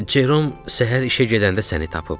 Jerom səhər işə gedəndə səni tapıb.